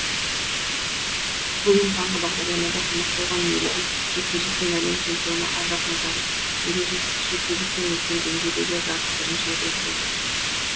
бүгін таңғы бағдарламада қонақ болған ережесіз жекпе жектен әлем чемпионы ардақ назаров ержесіз жекпе жектен үлкен деңгейдегі жарыс бірінші рет өтіп отыр